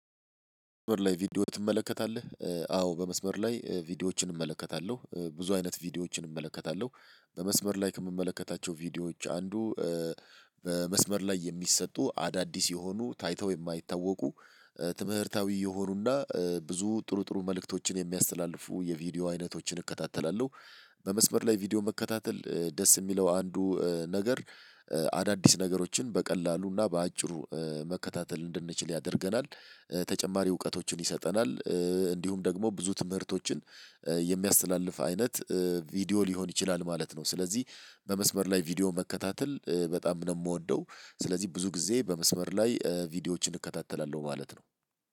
በመስመር ላይ ቪዲዮ ትመለከታለህ? አዎ በመስመር ላይ ቪዲዮዎችን እመለከታለሁ ብዙ አይነት ቪዲዮዎችን እመለከታለሁ በመስመር ላይ ከምመለከታቸው ቪዲዮዎች አንዱ በመስመር ላይ የሚሰጡ አዳዲስ የሆኑ ታይተው የማይታወቁ ትምህርታዊ የሆኑና ብዙ ጥሩ ጥሩ መልእክቶችን የሚያስተላልፉ የቪዲዮ አይነቶችን እከታተላለሁ። በመስመር ላይ ቪዲዮ መከታተል ደስ ሚለው አንዱ ነገር። አዳዲስ ነገሮችን በቀላሉና በአጭሩ መከታተል እንድንችል ያደርገናል። ተጨማሪ እውቀቶችን ይሰጠናል። እንዲሁም ደግሞ ብዙ ትምህርቶችን የሚያስተላልፍ አይነት ቪዲዮ ሊሆን ይችላል ማለት ነው። ስለዚህ በመስበር ላይ ቪዲዮ መከታተል በጣም ነው ምወደው። ስለዚህ ብዙ ጊዜ በመስበር ላይ ቪዲዮዎችን እከታተላለሁ ማለት ነው።